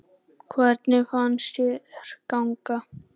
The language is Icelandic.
Hvernig fannst þér ganga?